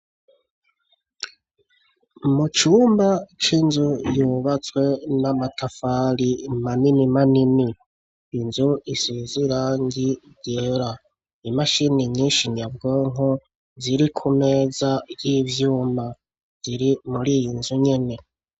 Mucumba c'inzu yubatswe n'amatafari maninimanini inzu isuzira ngi ryera imashini nyinshi nyabwonko ziri ku meza y'ivyuma ziri muri yi inzu nyene.